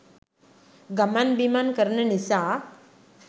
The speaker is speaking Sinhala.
ගමන් බිමන් කරන නිසා.